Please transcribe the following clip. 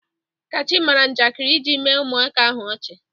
Kachi mara njakịrị iji mee ụmụaka ahụ ọchị.